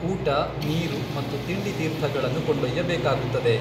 ಊಟ, ನೀರು ಮತ್ತು ತಿಂಡಿತೀರ್ಥಗಳನ್ನು ಕೊಂಡೊಯ್ಯಬೇಕಾಗುತ್ತದೆ.